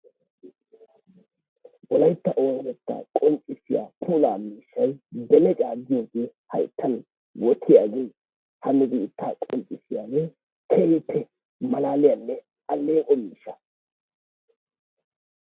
Wolayttaa oonatetta qonccissiyaa puula miishshay beleccaa gitooge hayttan wottiyooge nu biitta qonccissiyaage keehippe malaliyaanne aleeqo miishshaa.